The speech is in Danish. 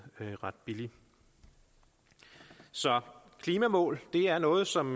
ret billige så klimamål er noget som